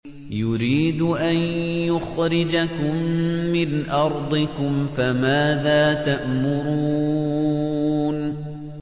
يُرِيدُ أَن يُخْرِجَكُم مِّنْ أَرْضِكُمْ ۖ فَمَاذَا تَأْمُرُونَ